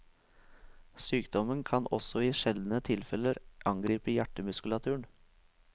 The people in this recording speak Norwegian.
Sykdommen kan også i sjeldne tilfeller angripe hjertemuskulaturen.